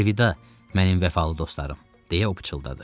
Əlvida, mənim vəfalı dostlarım, deyə o pıçıldadı.